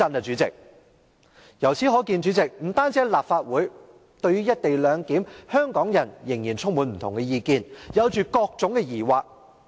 主席，由此可見，不單在立法會，香港人對"一地兩檢"仍然意見紛紜，抱着各種疑惑。